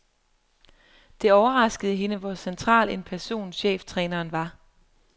Det overraskede hende, hvor central en person cheftræneren var.